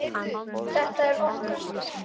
Þetta er okkar stund.